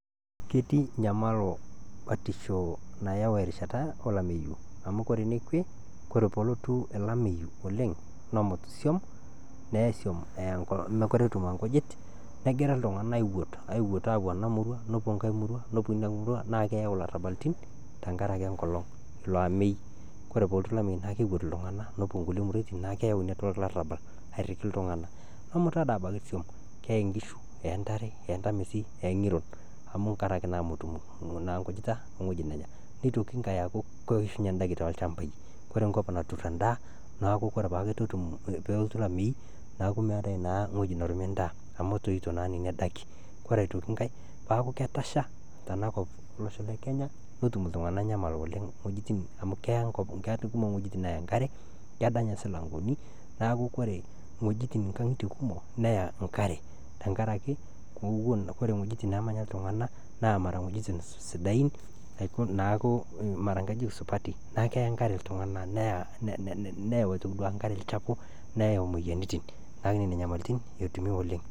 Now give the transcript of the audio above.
Ketii inyamalo batisho nayau erishata olameiyu amu kore nekwe kore pootu olomeiyu oleng nemut isiom neei isiom eya inkolong, mekure etum inkujit negira ltungana aiwuot aapo ana murrua nepo inkae nurrua naa keeyau larabalitin tengaraki enkolong ilo ameeii, kore pootu lamei naa keiwuat ltungana aapo nkule muruatin naa keyauu naa irlarabal airiki ltungana nemuta deii abaki isuom keyeei inkishu eyeii intarre, eyeei ntamesi, eyeii ing'iron amu tengaraki naa metum naa inkujita ooweji nenya, neitokii inkae aaku keishunye indaki toolshambai, kore emkop naturr endaa naaku kore paaku etu etum peelotu lameeii naaku meatae naaa eweji narumi indaa amu etoito naa neni daki, kore aitoki inkae paaku ketasha tanakop elosho le netum ltungana inyamal oleng wejitin amu keeya kekumok wejitin naaya inkare, kedany si irmilangoni naaku kore wejin inkang'itie kumok neyaa inkare tengaraki kore wejitin naamanya ltungana naa mara wejitin sidain naaku mara nkajijik supati naaku keya inkare ltunganak neyau duake aitoki inkare lchapuu neyau imoyiarritin naaku nenia inyamalitin etumi oleng.